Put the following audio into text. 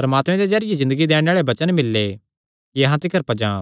परमात्मे दे जरिये ज़िन्दगी दैणे आल़े वचन मिल्ले कि अहां तिकर पज्जां